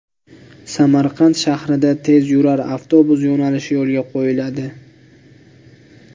Samarqand shahrida tezyurar avtobus yo‘nalishi yo‘lga qo‘yiladi.